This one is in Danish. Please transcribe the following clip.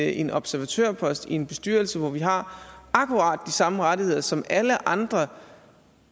en observatørpost i en bestyrelse hvor vi har akkurat de samme rettigheder som alle andre